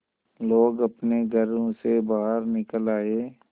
लोग अपने घरों से बाहर निकल आए